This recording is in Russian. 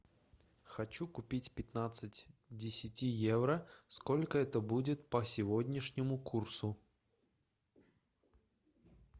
хочу купить пятнадцать к десяти евро сколько это будет по сегодняшнему курсу